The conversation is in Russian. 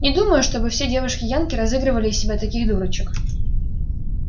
не думаю чтобы все девушки-янки разыгрывали из себя таких дурочек